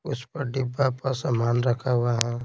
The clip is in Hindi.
उस पर डिब्बा पर सामान रखा हुआ है।